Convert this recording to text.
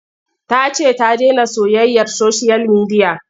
Ta ce ta dena soyayyar soshiyal midiya.